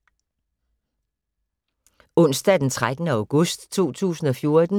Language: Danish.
Onsdag d. 13. august 2014